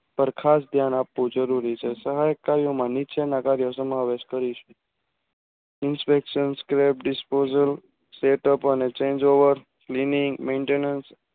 અર્થાત ધ્યાન આપવું જરૂરી છે નીચેની કાર્યોમાં સમાવેશે થાય છે inspection કે